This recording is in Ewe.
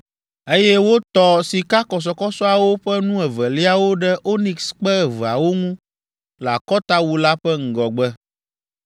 eye wotɔ sikakɔsɔkɔsɔawo ƒe nu eveliawo ɖe onikskpe eveawo ŋu le akɔtawu la ƒe ŋgɔgbe.